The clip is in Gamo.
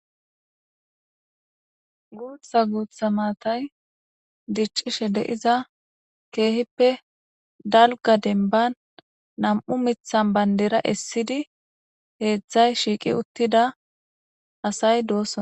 Guutha guutha maatay diccishe deiza keehippe dalga denban nam7u mithan bandera essidi heedzdzay shiiqi uttida asay doossoa.